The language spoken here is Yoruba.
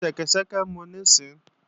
Fi ṣẹ́kẹ́ṣẹkẹ̀ mu nísinsìnyí!